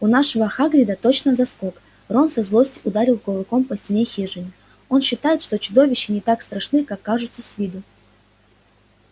у нашего хагрида точно заскок рон со злости ударил кулаком по стене хижины он считает что чудища не так страшны как кажутся с виду